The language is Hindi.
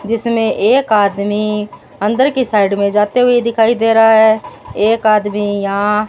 जिसमें एक आदमी अंदर की साइड में जाते हुए दिखाई दे रहा है एक आदमी यहां --